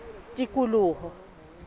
tikoloho